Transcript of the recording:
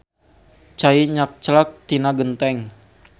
Cai nyakclak tina genteng